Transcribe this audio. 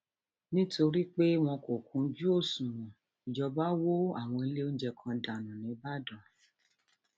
nítorí pé wọn kò kúnjú òṣùnwọn ìjọba wọ àwọn ilé oúnjẹ kan dànù nìbàdàn